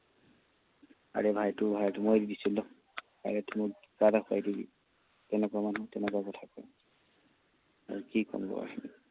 আৰে ভাই, এইটো ভাই তোৰ মই দি দিছো ল। আৰে তোৰ কিবা এটা খুৱাই দিবি। তেনেকুৱা মানুহ, তেনেকুৱা কথা কয়। আৰু কি কম আৰু?